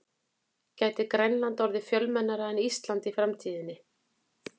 Gæti Grænland orðið fjölmennara en Ísland í framtíðinni?